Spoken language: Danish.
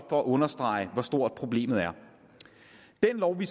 for at understrege hvor stort problemet er den lov vi